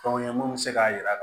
Fɛnw ye mun be se k'a yira